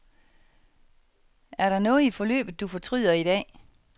Er der noget i forløbet, du fortryder i dag.